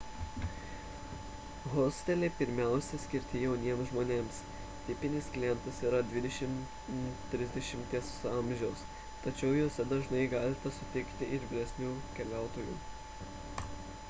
hosteliai pirmiausia skirti jauniems žmonėms – tipinis klientas yra 20–30 m amžiaus tačiau juose dažnai galite sutikti ir vyresnių keliautojų